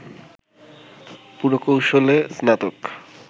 পুরকৌশলে স্নাতক